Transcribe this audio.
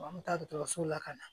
An bɛ taa dɔgɔtɔrɔso la ka na